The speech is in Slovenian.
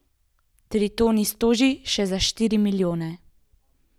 Tritonis toži še za štiri milijone.